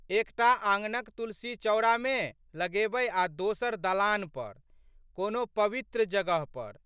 एक टा आंगनक तुलसीचौरामे लगेबै आ दोसर दलान पर कोनो पवित्र जगह पर।